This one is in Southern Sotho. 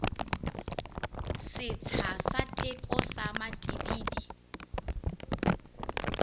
setsha sa teko sa matibidi